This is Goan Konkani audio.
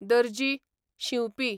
दर्जी, शिंवपी